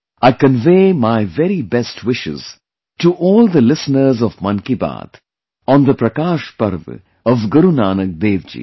I convey my very best wishes to all the listeners of Mann Ki Baat, on the Prakash Parv of Guru Nanak DevJi